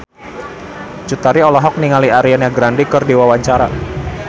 Cut Tari olohok ningali Ariana Grande keur diwawancara